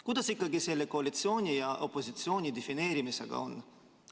Kuidas ikkagi koalitsiooni ja opositsiooni defineerimisega on?